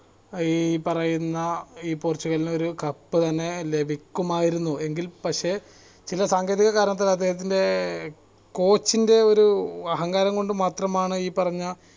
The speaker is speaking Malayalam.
ഈ പറയുന്ന ഈ പോർചുഗലിനൊരു cup തന്നെ ലഭിക്കുമായിരുന്നു എങ്കിൽ പക്ഷെ ചില സാങ്കേതിക കാരണത്താൽ അദ്ദേഹത്തിന്റെ coach ൻ്റെ ഒരു അഹങ്കാരം കൊണ്ട് മാത്രമാണ് ഈ പറഞ്ഞ